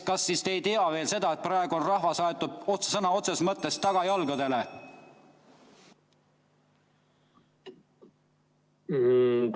Kas te siis seda veel ei tea, et rahvas on praegu aetud sõna otseses mõttes tagajalgadele?